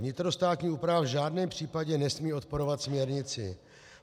Vnitrostátní úprava v žádném případě nesmí odporovat směrnici.